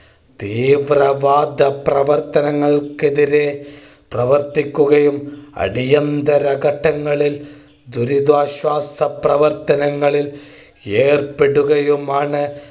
ഈ പ്രഭാത പ്രവർത്തനങ്ങൾക്കെതിരെ പ്രവർത്തിക്കുകയും അടിയന്തര ഘട്ടങ്ങളിൽ ദുരിതാശ്വാസ പ്രവർത്തനങ്ങളിൽ ഏർപ്പെടുകയുമാണ്